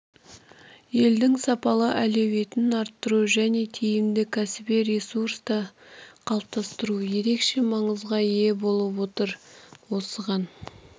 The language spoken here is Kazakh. елдің сапалы әлеуетін арттыру және тиімді кәсіби ресурсты қалыптастыру ерекше маңызға ие болып отыр осыған